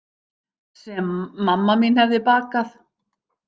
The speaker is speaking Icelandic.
Sem mamma mín hefði bakað.